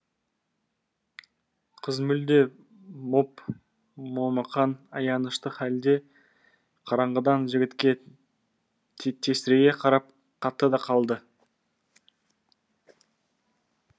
қыз мүлде моп момақан аянышты халде қараңғыдан жігітке тесірейе қарап қатты да қалды